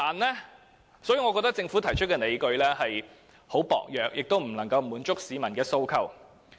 因此，我認為政府提出的理據十分薄弱，亦未能夠滿足市民的訴求。